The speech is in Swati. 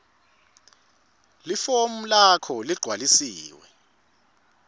lifomu lakho leligcwalisiwe